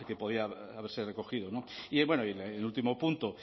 podía haberse recogido y en el último punto